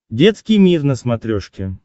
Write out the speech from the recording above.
детский мир на смотрешке